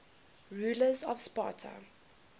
rulers of sparta